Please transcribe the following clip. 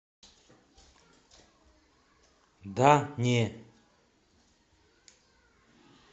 да не